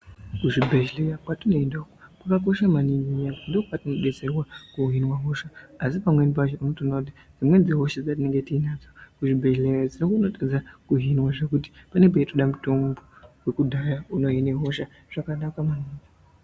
Kuzvibhedhleya kwatinoenda uku kwakakosha maningi ndokwatinodetserwa kuhinwa hosha asi pamweni pacho onotoona kuti dzimweni dzehosha dzetinonga tiinadzo kuzvibhehleya dzinokone kutadzwa kuhinwa zvekuti panonge peitoda muthombo wekudhaya unohine hosha zvakanaka maningi.